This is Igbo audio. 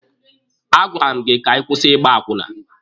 A gwara m gị ka ị kwụsị Ịgba akwụna!